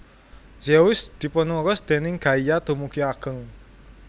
Zeus dipunurus déning Gaia dumugi ageng